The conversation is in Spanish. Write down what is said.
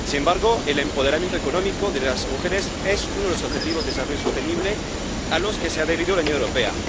Sin embargo, el empoderamiento económico de las mujeres es uno de los objetivos del desarrollo sostenible a los que se ha adherido la Unión Europea.